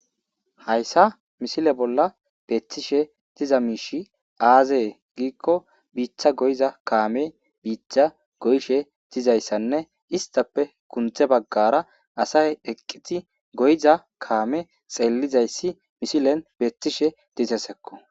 hayssa misile bolla beethtishe diza miishi aazee giikko biithcha goyza kaame biichcha goyshe dizayssanne istappe kunthe baggara asay eqqiti goyiza kaame xeellizayssi mishilen beethtishe dizesekko